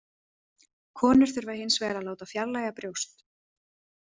Konur þurfa hinsvegar að láta fjarlægja brjóst.